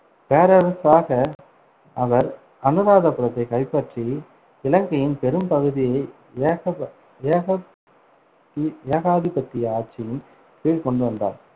பேரரசராக, அவர் அனுராதபுரத்தைக் கைப்பற்றி இலங்கையின் பெரும் பகுதியை ஏகப~ ஏக` தி~ ஏகாதிபத்திய ஆட்சியின் கீழ் கொண்டு வந்தார்.